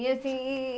E assim...